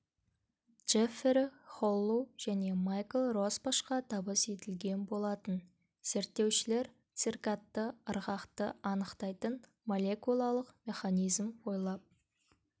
джеффери холлу және майкл росбашқа табыс етілген болатын зерттеушілер циркадты ырғақты анықтайтын молекулалық механизм ойлап